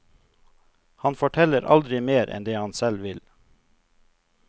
Han forteller aldri mer enn det han selv vil.